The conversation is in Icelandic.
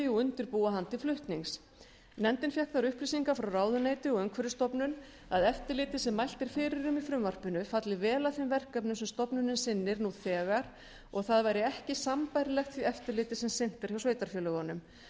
og undirbúa hann til flutnings nefndin fékk þær upplýsingar frá ráðuneyti og umhverfisstofnun að eftirlitið sem mælt er fyrir um í frumvarpinu falli vel að þeim verkefnum sem stofnunin sinnir nú þegar og að það væri ekki sambærilegt því eftirliti sem sinnt er hjá sveitarfélögunum